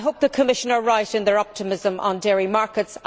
I hope the Commission is right in its optimism on dairy markets.